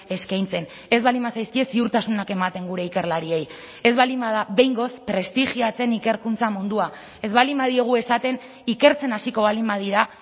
eskaintzen ez baldin bazaizkie ziurtasunak ematen gure ikerlariei ez baldin bada behingoz prestigiatzen ikerkuntza mundua ez baldin badiogu esaten ikertzen hasiko baldin badira